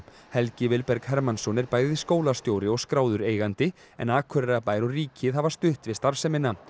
Helgi Vilberg Hermannsson er bæði skólastjóri og skráður eigandi en Akureyrarbær og ríkið hafa stutt við starfsemina